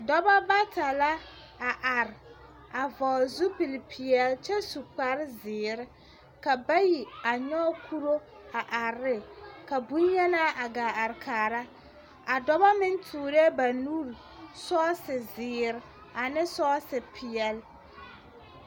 Dͻbͻ bata la are a vͻgele zupili peԑle kyԑ su kpare zeere, ka bayi a yͻge kuro a are ne, ka boŋyenaa a gaa are kaara. A dͻbͻ meŋ toorԑԑ banuuri sͻͻse peԑle.